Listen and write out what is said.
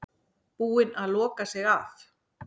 Búin að loka sig af